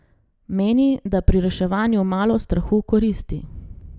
Meni, da pri reševanju malo strahu koristi.